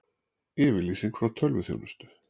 Yfirlýsing frá tölvuþjónustu